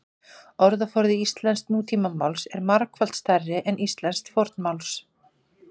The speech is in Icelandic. Orðaforði íslensks nútímamáls er margfalt stærri en íslensks fornmáls.